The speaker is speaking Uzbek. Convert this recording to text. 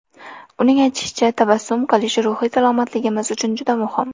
Uning aytishicha, tabassum qilish ruhiy salomatligimiz uchun juda muhim.